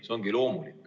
See ongi loomulik.